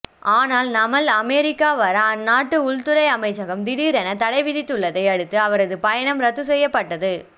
ஆனால் நமல் அமெரிக்கா வர அந்நாட்டு உள்துறை அமைச்சகம் திடீரென தடை விதித்துள்ளதை அடுத்து அவரது பயணம் ரத்து செய்யப்பட்டது